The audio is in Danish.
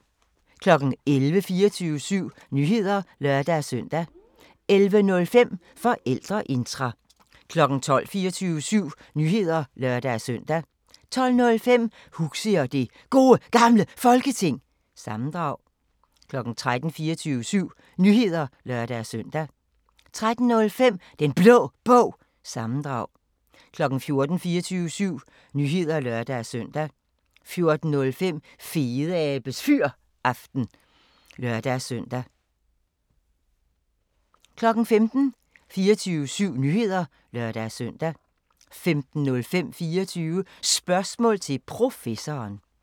11:00: 24syv Nyheder (lør-søn) 11:05: Forældreintra 12:00: 24syv Nyheder (lør-søn) 12:05: Huxi og det Gode Gamle Folketing – sammendrag 13:00: 24syv Nyheder (lør-søn) 13:05: Den Blå Bog – sammendrag 14:00: 24syv Nyheder (lør-søn) 14:05: Fedeabes Fyraften – sammendrag 15:00: 24syv Nyheder (lør-søn) 15:05: 24 Spørgsmål til Professoren